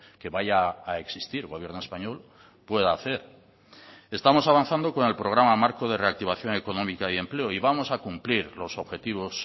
que vaya a existir gobierno español pueda hacer estamos avanzando con el programa marco de reactivación económica y empleo y vamos a cumplir los objetivos